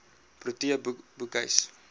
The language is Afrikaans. protea boekhuis